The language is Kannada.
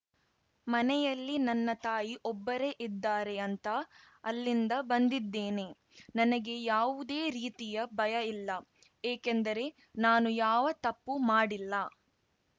ಮನೆಯಲ್ಲಿ ನನ್ನ ತಾಯಿ ಒಬ್ಬರೇ ಇದ್ದಾರೆ ಅಂತ ಅಲ್ಲಿಂದ ಬಂದಿದ್ದೇನೆ ನನಗೆ ಯಾವುದೇ ರೀತಿಯ ಭಯ ಇಲ್ಲ ಏಕೆಂದರೆ ನಾನು ಯಾವ ತಪ್ಪೂ ಮಾಡಿಲ್ಲ